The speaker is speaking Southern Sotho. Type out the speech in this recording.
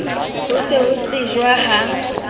le ho se tsejwe ha